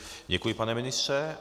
Děkuji, pane ministře.